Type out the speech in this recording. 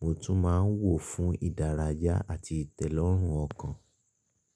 mo tún máa ń wò ó fún ìdárayá àti ìtẹ́lọ́rùn ọkàn.